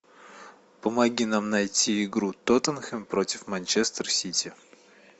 помоги нам найти игру тоттенхэм против манчестер сити